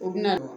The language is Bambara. U bina